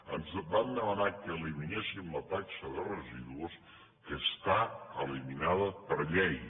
ens van demanar que eliminéssim la taxa de residus que està eliminada per llei